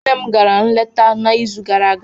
Nne m gara nleta n'izu gara aga.